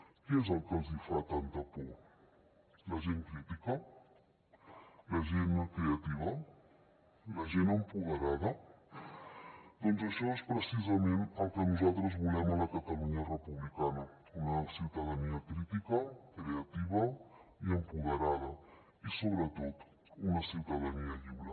què és el que els hi fa tanta por la gent crítica la gent creativa la gent empoderada doncs això és precisament el que nosaltres volem a la catalunya republicana una ciutadania crítica creativa i empoderada i sobretot una ciutadania lliure